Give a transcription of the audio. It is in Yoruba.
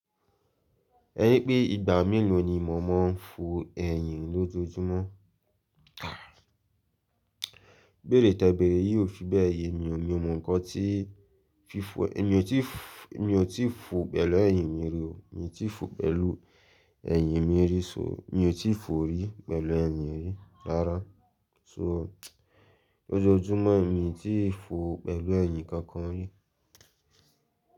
Ẹni pé ìgbà mélòó ni mọ̀ mọ́ ń fò ẹ̀yìn lójoojúmọ́? Ibeèrè tẹ beèrè yí ò fi bẹ́ẹ̀ yé mi ò ní mọ ǹkan tí fífọ ẹ èmi ò tí, mi ò tí fò pẹ̀lú ẹ̀yìn mi rí o, mi ò tí fò pẹ̀lú ẹ̀yìn mi rí so mi ò tí fò rí pẹ̀lú ẹ̀yìn mi rí rárá. So lójoójúmọ́ mi ò tí fò pẹ̀lú ẹ̀yìn kankan rí.